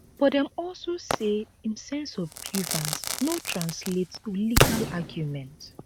but dem also say im sense of grievance no translate to legal argument